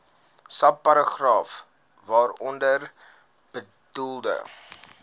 subparagraaf waaronder bedoelde